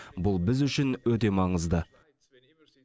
бұл біз үшін өте маңызды